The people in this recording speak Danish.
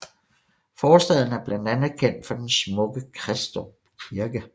Forstaden er blandt andet kendt for den smukke Kristrup Kirke